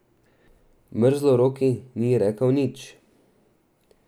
Mrzloroki ni rekel nič.